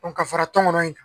O ka fara tɔnkɔnɔ in kan